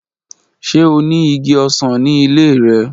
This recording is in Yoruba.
Ṣe o ni igi osan ni ile rẹ?